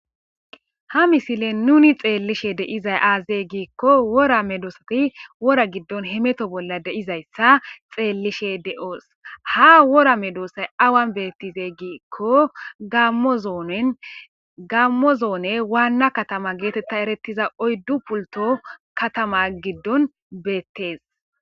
Ha misilen nuni xeelishe dizay azee? Gizayssa gidikko wora medosati wora giddon hemeton dizayssa xeelishe de'os. Ha wora medosay awanii betizee? gizayssa gidikko Gamo zone getteta eretiza wanna kataman oyddu pultto kataman bettes.